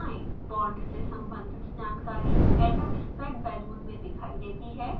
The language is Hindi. बॉन्ड से सम्बंधित जानकारी atomspec balloon में दिखाई देती है